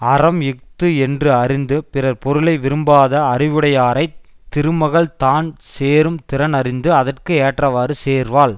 அறம் இஃது என்று அறிந்து பிறர் பொருளை விரும்பாத அறிவுடையாரை திருமகள் தான் சேரும் திறன் அறிந்து அதற்கு ஏற்றவாறு சேர்வாள்